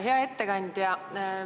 Hea ettekandja!